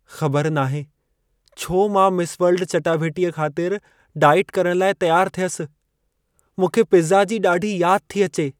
ख़बर नाहे छो मां मिस वर्ल्ड चटाभेटीअ ख़ातिर डाइट करण लाइ तियारु थियसि। मूंखे पिज़ा जी ॾाढी याद थी अचे।